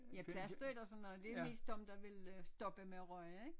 Ja plastre ik og sådan noget det er mest dem der vil øh stoppe med at ryge ik